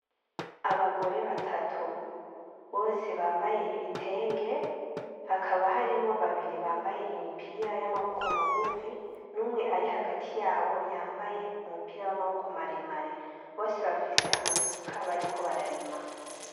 Abagore batatu bose bambaye ibitenge hakaba harimwo babiri bambaye imipira y'amaboko magufi n'umwe ari hagati yabo yambaye umupira w'amaboko maremare bose bafise amasuka bariko bararima.